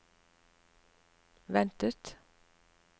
ventet